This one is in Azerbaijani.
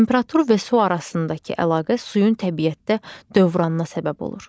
Temperatur və su arasındakı əlaqə suyun təbiətdə dövranına səbəb olur.